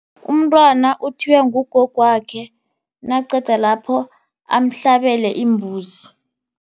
Umntwana uthiywa ngugogwakhe, naqedalapho amhlabele imbuzi.